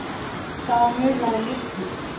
Það munaði litlu.